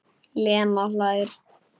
Lena hlær.